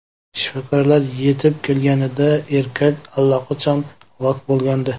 Shifokorlar yetib kelganida erkak allaqachon halok bo‘lgandi.